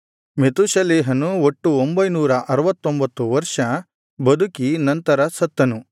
ಮೆತೂಷೆಲಹನು ಒಟ್ಟು ಒಂಭೈನೂರ ಅರುವತ್ತೊಂಭತ್ತು ವರ್ಷ ಬದುಕಿ ನಂತರ ಸತ್ತನು